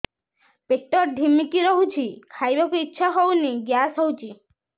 ପେଟ ଢିମିକି ରହୁଛି ଖାଇବାକୁ ଇଛା ହଉନି ଗ୍ୟାସ ହଉଚି